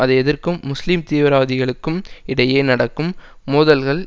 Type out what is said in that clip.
அதை எதிர்க்கும் முஸ்லிம் தீவிரவாதிகளுக்கும் இடையே நடக்கும் மோதல்கள்